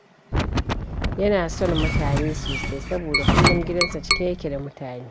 Yana son mutane sosai, saboda kullum gidansa cike yake da mutane.